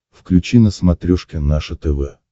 включи на смотрешке наше тв